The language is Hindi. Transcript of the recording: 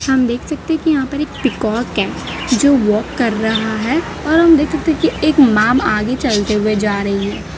हम देख सकते कि यहां पर एक पीकॉक है जो वॉक कर रहा है और हम देख सकते हैं की एक मैम आगे चलते हुए जा रही --